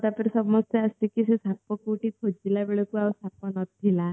ତାପରେ ସମସ୍ତେ ଆସିକି ସେ ସାପ କୋଉଠି ଖୋଜିଲା ବେଳକୁ ଆଉ ସାପ ନଥିଲା